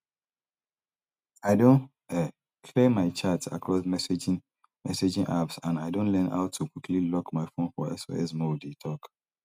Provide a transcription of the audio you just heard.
i don um clear my chats across messaging messaging apps and i don learn how to quickly lock my phone for sos mode e tok